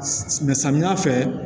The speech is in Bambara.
Sɔ samiya fɛ